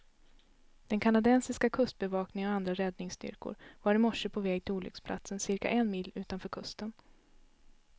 Den kanadensiska kustbevakningen och andra räddningsstyrkor var i morse på väg till olycksplatsen, cirka en mil utanför kusten.